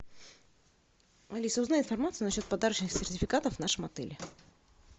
алиса узнай информацию на счет подарочных сертификатов в нашем отеле